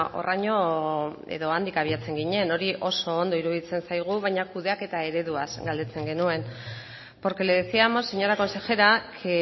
horraino edo handik abiatzen ginen hori oso ondo iruditzen zaigu baina kudeaketa ereduaz galdetzen genuen porque le decíamos señora consejera que